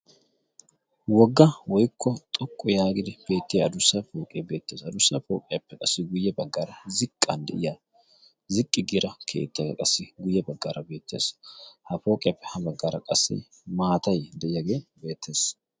wogga woikko xoqqu yaagidi beettiya adussaai pooqee beettees adurssai pooqiyaappe qassi guyye baggaara ziqqan de7iya ziqqi gira keettaaa qassi guyye baggaara beettees ha pooqiyappe ha baggaara qassi maatai de7iyaagee beettees